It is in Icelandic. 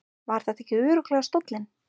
Var þetta ekki örugglega stóllinn?